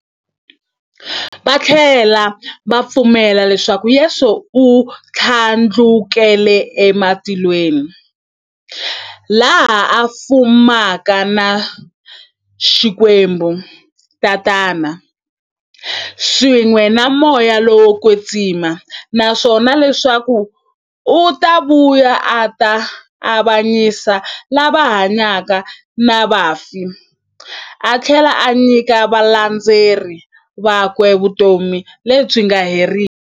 Vathlela va pfumela leswaku Yesu u thlandlukele e matilweni, laha a fumaka na Xikwembu-Tatana, swin'we na Moya lowo kwetsima, naswona leswaku u ta vuya a ta avanyisa lava hanyaka na vafi athlela a nyika valandzeri vakwe vutomi lebyi nga heriki.